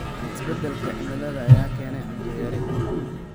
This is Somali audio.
Isbeddelka cimilada ayaa keenaya cunto yari.